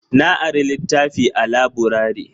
Na ari litafi a laburare